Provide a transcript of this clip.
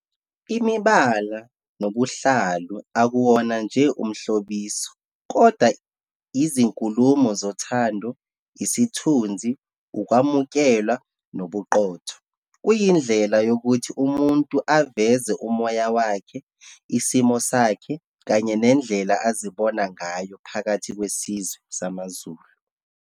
Imibala nobuhlalu akuwona nje umhlobiso, kodwa izinkulumo zothando, isithunzi, ukwamukelwa, nobuqotho. Kuyindlela yokuthi umuntu aveze umoya wakhe, isimo sakhe, kanye nendlela azibona ngayo phakathi kwesizwe samaZulu.